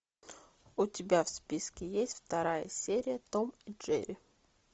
у тебя в списке есть вторая серия том и джерри